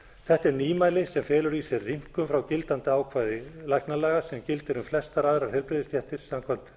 þetta er nýmæli sem felur í sér rýmkun frá gildandi ákvæði læknalaga sem gildir um flestar aðrar heilbrigðisstéttir samkvæmt